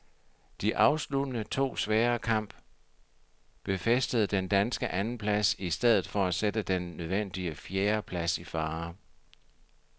De afsluttende to svære kamp befæstede den danske andenplads i stedet for at sætte den nødvendige fjerdeplads i fare.